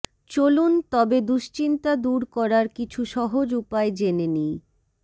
চলুন তবে দুশ্চিন্তা দূর করার কিছু সহজ উপায় জেনে নিই